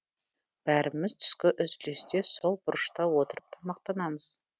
бәріміз түскі үзілісте сол бұрышта отырып тамақтанамыз